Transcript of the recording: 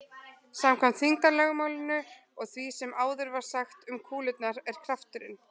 Samkvæmt þyngdarlögmálinu og því sem áður var sagt um kúlurnar er krafturinn